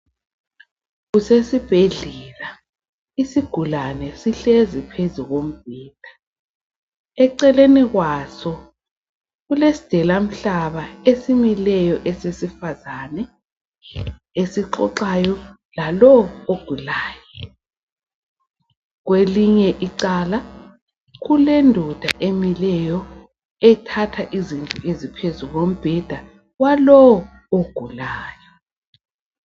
Kusesibhedlela isigulane sihlezi phezu kombheda. Eceleni kwaso kulesidelamhlaba esimileyo esesifazana esixoxayo lalowu ogulayo. Kwelinye icele kulendoda emileyo ethatha izinto phezu kombheda walowu ogulayo.